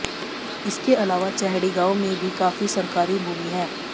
इसके अलावा चैहड़ी गांव में भी काफी सरकारी भूमि है